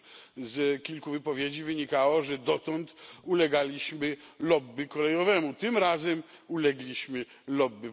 No cóż, z kilku wypowiedzi wynikało, że dotąd ulegaliśmy lobby kolejowemu tym razem ulegliśmy lobby pasażerskiemu.